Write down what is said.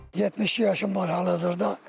72 yaşım var hal-hazırda.